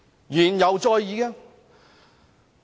言猶在耳。